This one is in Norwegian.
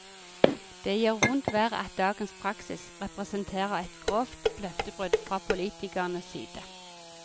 Det gjør vondt verre at dagens praksis representerer et grovt løftebrudd fra politikernes side.